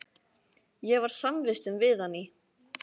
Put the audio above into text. Ég var samvistum við hann í